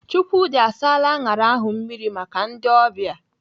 Chukwudi asaala aṅara ahụ mmiri maka ndị ọbịa.